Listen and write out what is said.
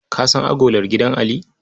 Ka san agolar gidan Ali?